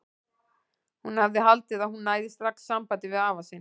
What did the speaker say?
Hún hafði haldið að hún næði strax sambandi við afa sinn.